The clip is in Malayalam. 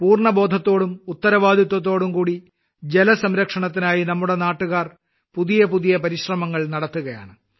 പൂർണ്ണബോധത്തോടും ഉത്തരവാദിത്തത്തോടുംകൂടി ജല സംരക്ഷണത്തിനായി നമ്മുടെ നാട്ടുകാർ പുതിയപുതിയ ശ്രമങ്ങൾ നടത്തുകയാണ്